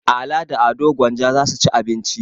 Ala da Ado Gwanja za su ci abinci.